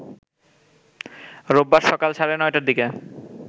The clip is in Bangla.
রোববার সকাল সাড়ে ৯টার দিকে